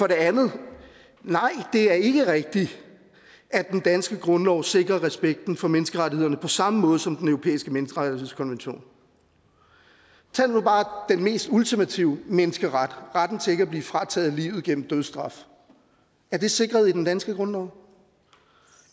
det andet nej det er ikke rigtigt at den danske grundlov sikrer respekten for menneskerettighederne på samme måde som den europæiske menneskerettighedskonvention tag nu bare den mest ultimative menneskeret retten til ikke at blive frataget livet gennem dødsstraf er det sikret i den danske grundlov